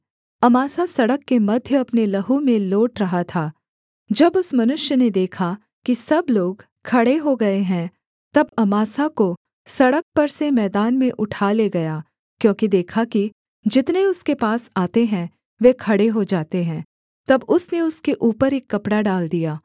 Amasa सड़क के मध्य अपने लहू में लोट रहा था जब उस मनुष्य ने देखा कि सब लोग खड़े हो गए हैं तब अमासा को सड़क पर से मैदान में उठा ले गया क्योंकि देखा कि जितने उसके पास आते हैं वे खड़े हो जाते हैं तब उसने उसके ऊपर एक कपड़ा डाल दिया